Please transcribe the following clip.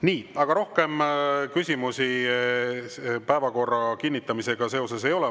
Nii, aga rohkem küsimusi päevakorra kinnitamisega seoses ei ole.